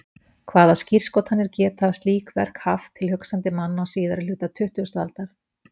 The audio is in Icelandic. Hvaða skírskotanir geta slík verk haft til hugsandi manna á síðari hluta tuttugustu aldar?